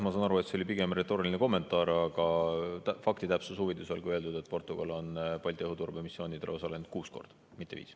Ma saan aru, et see oli pigem retooriline kommentaar, aga faktitäpsuse huvides olgu öeldud, et Portugal on Balti õhuturbemissioonidel osalenud kuus korda, mitte viis.